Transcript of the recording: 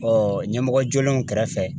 Ɔ ɲɛmɔgɔ jolenw kɛrɛfɛ.